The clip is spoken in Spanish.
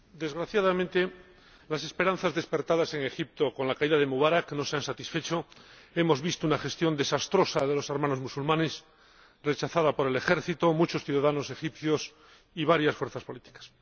Señor Presidente, desgraciadamente, las esperanzas despertadas en Egipto con la caída de Mubarak no se han satisfecho. Hemos visto una gestión desastrosa de los Hermanos Musulmanes, rechazada por el ejército, muchos ciudadanos egipcios y varias fuerzas políticas.